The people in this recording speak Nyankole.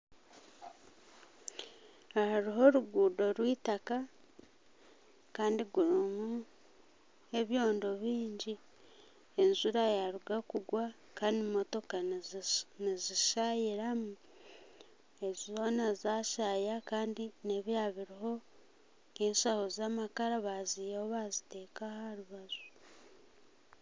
Aha hariho oruguudo rwitaka Kandi rurimu ebyondo bingi enjura yaruga kugwa Kandi motoka nizishayiramu ezi zoona zashaaya Kandi nebyababiriho enshaho zamakara bazihaho bazita aharubaju